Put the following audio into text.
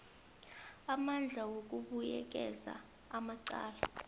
amandla wokubuyekeza amacala